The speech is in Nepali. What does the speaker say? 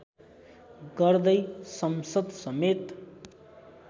गर्दै संसद समेत